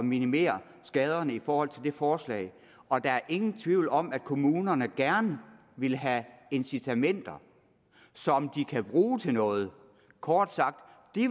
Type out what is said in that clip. minimere skaderne i forhold til det her forslag og der er ingen tvivl om at kommunerne gerne vil have incitamenter som de kan bruge til noget kort sagt